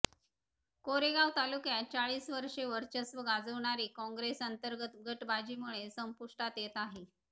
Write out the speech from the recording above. कोरेगाव तालुक्यात चाळीस वर्षे वर्चस्व गाजवणारी कॉंग्रेस अंतर्गत गटबाजीमुळे संपुष्टात येत आहे